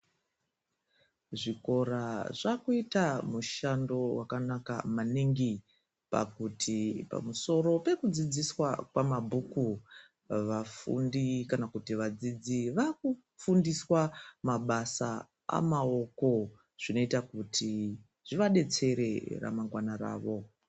Zvikora zvakuita mushando wakanaka maningi pakuti pamusoro pekudzidziswa kwamabhuku vafundi kana kuti vadzidzi vakufundiswa mabasa amaoko zvinoita kuti zvivadetsere ramangwana ravo.